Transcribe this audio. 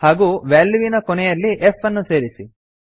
ಹಾಗೂ ವ್ಯಾಲ್ಯೂವಿನ ಕೊನೆಯಲ್ಲಿ f ಅನ್ನು ಸೇರಿಸಿ